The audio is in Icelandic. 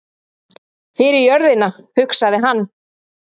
Fyrir jörðina, hugsaði hann.